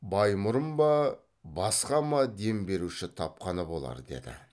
баймұрын ба басқа ма дем беруші тапқаны болар деді